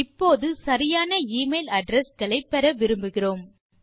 இப்போது சரியான e mail address களை பெற விரும்புகிறோம்